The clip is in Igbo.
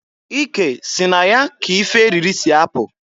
Ike si na ya ka ife eriri si apụ.